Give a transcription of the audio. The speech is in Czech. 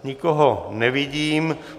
Nikoho nevidím.